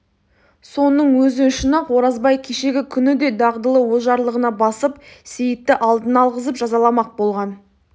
соның өзі үшін-ақ оразбай кешегі күні де дағдылы ожарлығына басып сейітті алдына алғызып жазаламақ болған